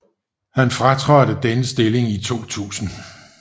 Han fratrådte denne stilling i 2000